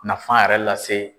Nafan yɛrɛ lase.